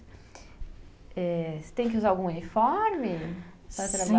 É, você tem que usar algum uniforme para trabalhar? sim